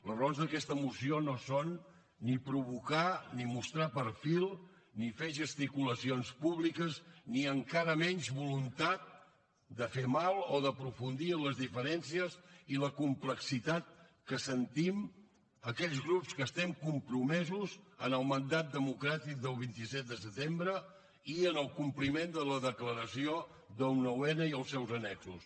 les raons d’aquesta moció no són ni provocar ni mostrar perfil ni fer gesticula cions públiques ni encara menys voluntat de fer mal o d’aprofundir en les diferències i la complexitat que sentim aquells grups que estem compromesos amb el mandat democràtic del vint set de setembre i amb el compliment de la declaració del nou n i el seus annexos